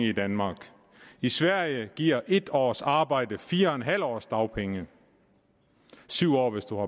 i danmark i sverige giver en års arbejde fire en halv års dagpengeret syv år hvis du